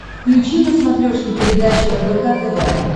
включи на смотрешке передачу рбк тв